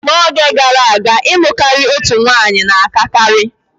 N'oge gara aga, ịlụ karịa otu nwanyị na-akakarị.